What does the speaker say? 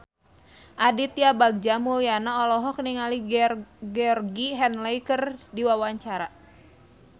Aditya Bagja Mulyana olohok ningali Georgie Henley keur diwawancara